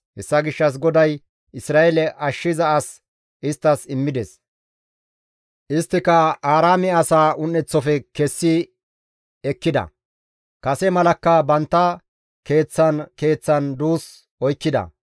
Hessa gishshas GODAY Isra7eele ashshiza as isttas immides; isttika Aaraame asaa un7eteththafe kessi ekkida; kase malakka bantta keeththan keeththan duus oykkida.